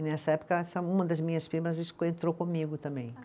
E nessa época essa, uma das minhas primas entrou comigo também.